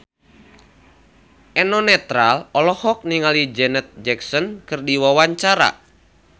Eno Netral olohok ningali Janet Jackson keur diwawancara